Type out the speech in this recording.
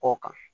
Kɔ kan